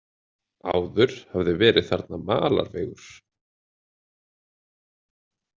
Áður hafði verið þarna malarvegur.